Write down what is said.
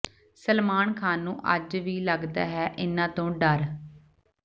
ਸਲਮਾਨ ਖਾਨ ਨੂੰ ਅੱਜ ਵੀ ਲੱਗਦਾ ਹੈ ਇਨ੍ਹਾਂ ਤੋਂ ਡਰ